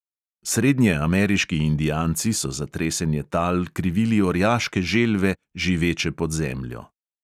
Srednjeameriški indijanci so za tresenje tal krivili orjaške želve, živeče pod zemljo.